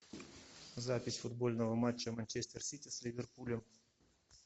запись футбольного матча манчестер сити с ливерпулем